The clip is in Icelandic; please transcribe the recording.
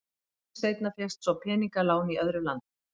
Nokkru seinna fékkst svo peningalán í öðru landi.